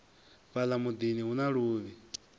fhala mudini hu na luvhi